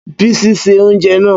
Bísí se oúnjẹ náà.